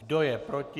Kdo je proti?